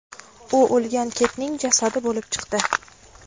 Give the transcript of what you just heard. U o‘lgan kitning jasadi bo‘lib chiqdi.